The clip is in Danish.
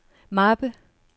mappe